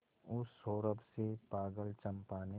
उस सौरभ से पागल चंपा ने